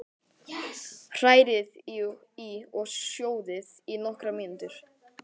Hrærið í og sjóðið í nokkrar mínútur.